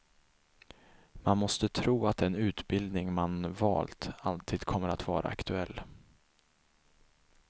Man måste tro att den utbildning man valt alltid kommer att vara aktuell.